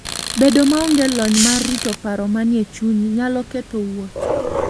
Bedo maonge lony mar rito paro manie chunyi, nyalo ketho wuoth.